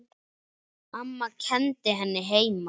Amma kenndi henni heima.